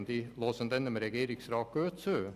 Ich werde dem Regierungsrat gut zuhören.